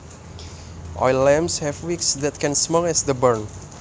Oil lamps have wicks that can smoke as the burn